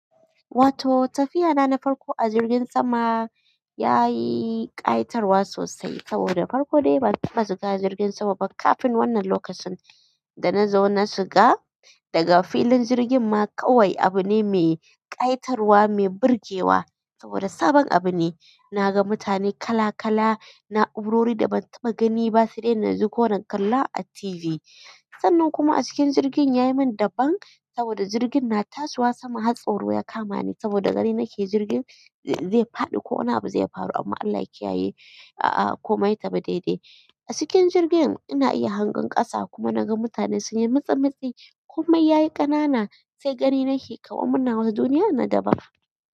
Wato tafiya na na farko a jirgin sama ya yi ƙayitar wa sosai saboda farko dai ban taɓa shiga jirgin sama ba kafin wannan lokacin. Da na zo na shiga daga filin jirgin ma kawai abu ne mai ƙayitar wa, mai burgewa saboda sabon abu ne. Na ga mutane kala-kala na'urori da ban taɓa gani ba sai dai na ji ko na kalla a TV. Sannan kuma a cikin jirgin ya yi min daban saboda jirgin na tasowa sama har tsoro ya kama ni saboda gani nake jirgin zai faɗi ko wani abu zai faru amma Allah ya kiyaye. A'a komai ya tafi daidai. A cikin jirgin ina iya hangen ƙasa kuma na ga mutane sun yi mitsi-mitsi komai ya yi ƙanana sai gani nake kawar muna wani duniya na daban.